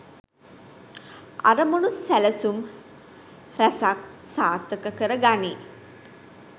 අරමුණු සැලසුම් රැසක් සාර්ථක කර ගනී.